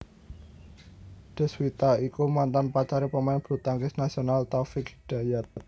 Deswita iku mantan pacare pemain bulutangkis nasional Taufik Hidayat